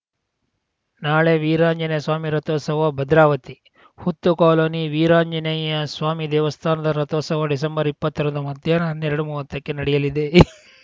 ನಾಳೆ ವೀರಾಂಜನೇಯ ಸ್ವಾಮಿ ರಥೋತ್ಸವ ಭದ್ರಾವತಿ ಹುತ್ತು ಕಾಲೋನಿ ವೀರಾಂಜನೇಯ ಸ್ವಾಮಿ ದೇವಸ್ಥಾನದ ರಥೋತ್ಸವ ಡಿಸೆಂಬರ್ಇಪ್ಪತ್ತರಂದು ಮಧ್ಯಾಹ್ನ ಹನ್ನೆರಡುಮೂವತ್ತಕ್ಕೆ ನಡೆಯಲಿದೆ